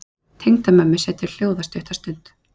Tengdamömmu setur hljóða stutta stund.